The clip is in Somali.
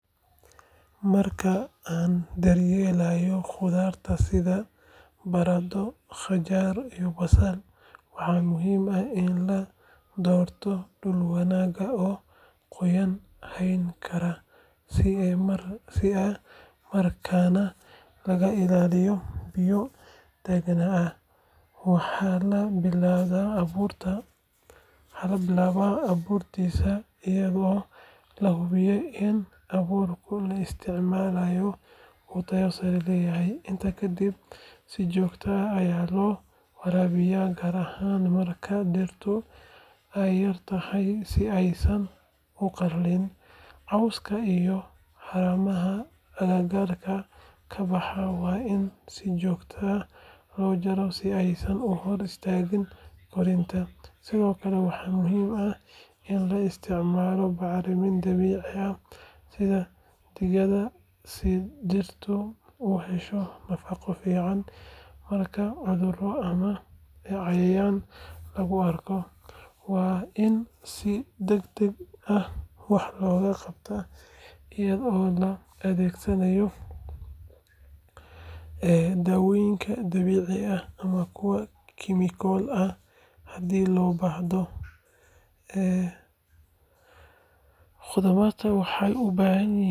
Marka aan daryeelayno khudradda sida baradho, qajaar iyo basal, waxaa muhiim ah in la doorto dhul wanaagsan oo qoyaan hayn kara isla markaana laga ilaaliyo biyo taagnaada. Waxaa la bilaabaa abuurista iyadoo la hubinayo in abuurka la isticmaalayo uu tayo sare leeyahay. Intaa kadib si joogto ah ayaa loo waraabiyaa gaar ahaan marka dhirtu ay yar tahay si aysan u qalalin. Cawska iyo haramaha agagaarka ka baxa waa in si joogto ah loo jaraa si aanay u hor istaagin korriinka. Sidoo kale, waxaa muhiim ah in la isticmaalo bacrimin dabiici ah sida digada si dhirtu u hesho nafaqo fiican. Marka cudurro ama cayayaan lagu arko, waa in si degdeg ah wax looga qabtaa iyadoo la adeegsanayo daawooyin dabiici ah ama kuwa kiimiko ah haddii loo baahdo. Khudradahan waxay u baahan yihiin.